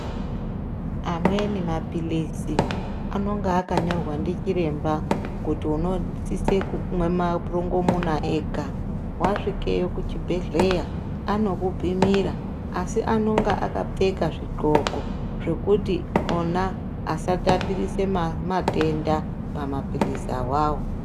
Amweni maphilisi, anonga akanyorwa ndichiremba kuti unosise kumwa marongomuna ega. Wasvike kuchibhedhleya, anokupimira. Asi, anonga akapfeka zvigxoko zvokuti ona asatapirise matenda pamaphilisa wawo.